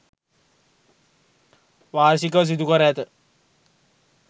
වාර්ෂිකව සිදු කර ඇත.